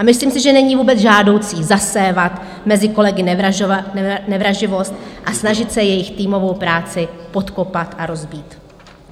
A myslím si, že není vůbec žádoucí zasévat mezi kolegy nevraživost a snažit se jejich týmovou práci podkopat a rozbít.